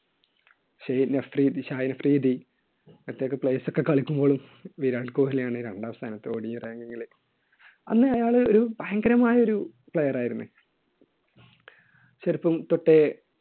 ഷഹീൻ അഫ്രീദി, ഷാഹിൻ അഫ്രീദി മറ്റ് ഒക്കെ players ഒക്കെ കളിക്കുമ്പോഴും വിരാട് കോഹ്ലി ആണ് രണ്ടാം സ്ഥാനത്ത് odiranking ൽ. അന്ന് അയാൾ ഒരു ഭയങ്കരമായ ഒരു player ആയിരുന്നു. ചെറുപ്പംതൊട്ടേ